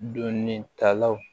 Donitalaw